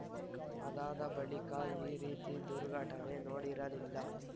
ಅದಾದ ಬಳಿಕ ಈ ರೀತಿ ದುರ್ಘಟನೆ ನೋಡಿರಲಿಲ್ಲ